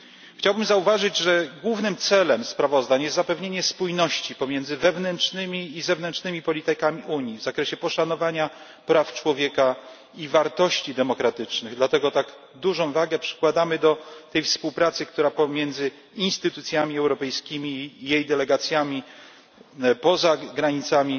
Chciałbym zauważyć, że głównym celem sprawozdań jest zapewnienie spójności pomiędzy wewnętrznymi i zewnętrznymi politykami Unii w zakresie poszanowania praw człowieka i wartości demokratycznych, dlatego tak dużą wagę przykładamy do tej współpracy, która pomiędzy instytucjami europejskimi i jej delegacjami poza granicami